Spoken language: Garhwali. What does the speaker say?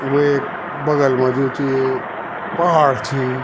वे बगल मा जो च पहाड़ च।